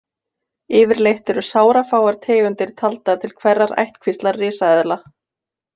Yfirleitt eru sárafáar tegundir taldar til hverrar ættkvíslar risaeðla.